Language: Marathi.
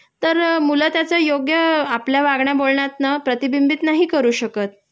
तर मुलं त्याचा योग्य आपल्या वागण्या बोलण्यातनं प्रतिबिंबित नाही करू शकत